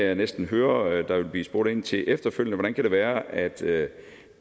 jeg næsten høre at der ville blive spurgt ind til efterfølgende hvordan det kan være at det